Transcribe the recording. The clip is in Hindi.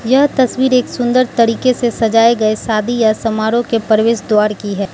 यह तस्वीर एक सुंदर तरीके से सजाए गए शादी या समारोह के प्रवेश द्वार की है।